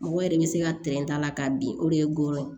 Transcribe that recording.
Mɔgɔ yɛrɛ bɛ se ka t'a la k'a bin o de ye gɔyɔ ye